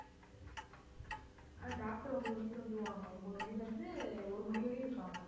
அஹ் doctor ஒன்பது மணிக்கு வந்துருவாங்க ஒன்பது மணியிலிருந்து ஒரு மணி வரையும் இருப்பாங்க.